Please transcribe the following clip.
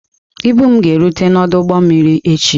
Ibu m ga-erute n'ọdụ ụgbọ mmiri echi.